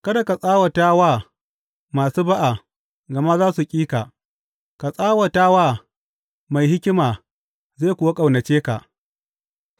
Kada ka tsawata wa masu ba’a gama za su ƙi ka; ka tsawata wa mai hikima zai kuwa ƙaunace ka.